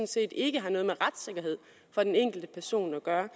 set ikke har noget med retssikkerhed for den enkelte person at gøre